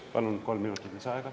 Palun kolm minutit lisaaega.